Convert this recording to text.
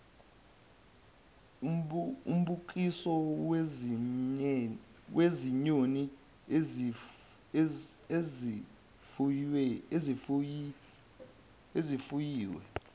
umbukiso wezinyoni ezifuyiwe